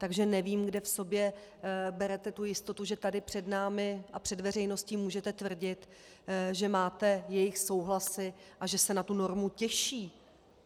Takže nevím, kde v sobě berete tu jistotu, že tady před námi a před veřejností můžete tvrdit, že máte jejich souhlasy a že se na tu normu těší.